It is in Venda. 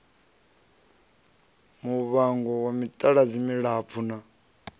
muvango wa mitaladzi milapfu na